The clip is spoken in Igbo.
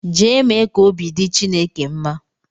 Jee mee ka obi dị Chineke mma!